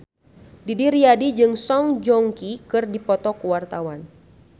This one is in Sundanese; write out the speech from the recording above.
Didi Riyadi jeung Song Joong Ki keur dipoto ku wartawan